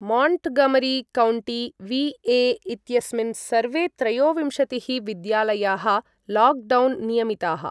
Montgomery County, VA. इत्यस्मिन् सर्वे त्रयोविंशतिः विद्यालयाः लाक्डौन् नियमिताः।